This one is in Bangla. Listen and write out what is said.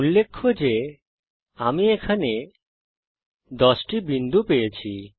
উল্লেখ্য যে আমি এখানে 10টি বিন্দু পেয়েছি